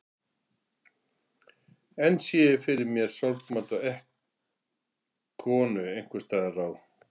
Enn sé ég fyrir mér sorgmædda konu einhvers staðar á